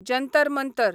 Jantar Mantar